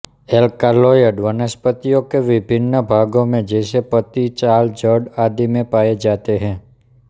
alkaloid वनस्पतियों के विभिन्न भागों में जैसे पत्ती छाल जड़ आदि में पाए जाते हैं